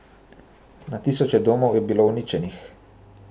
Na tisoče domov je bilo uničenih.